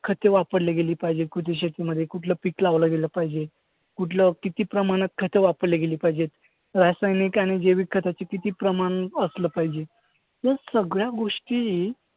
खते वापरली गेली पाहिजेत कुठल्या शेतामध्ये? कुठलं पीक लावलं गेलं पाहिजे? कुठलं किती प्रमाणात खतं वापरली गेली पाहिजेत? रासायनिक आणि जैविक खतांचं किती प्रमाण असलं पाहिजे? या सगळ्या गोष्टी